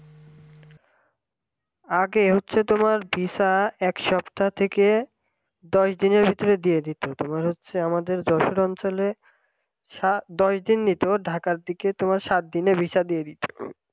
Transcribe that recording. আগে হচ্ছে তোমার visa এক সপ্তাহ থেকে দশ দিনের ভিতরে দিয়ে দিত তোমার হচ্ছে আমাদের যশোর অঞ্চলে সা দশ দিন নিতো ঢাকার দিকে তোমার সাত দিনে visa দিয়ে দিত